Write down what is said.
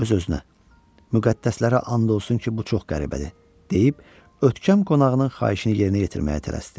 Öz-özünə: Müqəddəslərə and olsun ki, bu çox qəribədir, deyib ötkəm qonağının xahişini yerinə yetirməyə tələsdi.